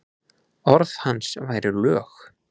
Orð hans væru lög.